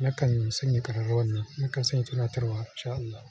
Nakan sanya ƙararrawan nan, nakan sanya tunatarwa. In sha Allah.